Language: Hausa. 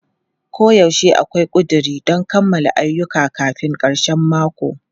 Koyaushe akwai ƙuduri don kammala ayyuka kafin karshen mako.